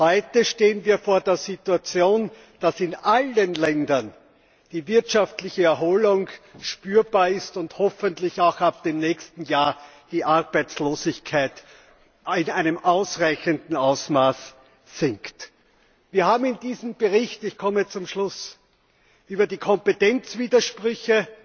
Heute stehen wir vor der Situation, dass in allen Ländern die wirtschaftliche Erholung spürbar ist und hoffentlich auch ab dem nächsten Jahr die Arbeitslosigkeit in einem ausreichenden Ausmaß sinkt. Wir haben in diesem Bericht ich komme zum Schluss auf die Kompetenzwidersprüche,